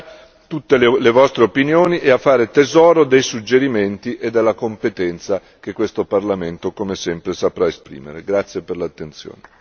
Sono pronto ad ascoltare tutte le vostre opinioni e a fare tesoro dei suggerimenti e della competenza che questo Parlamento come sempre saprà esprimere.